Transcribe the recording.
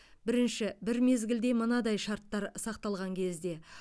бірінші бір мезгілде мынадай шарттар сақталған кезде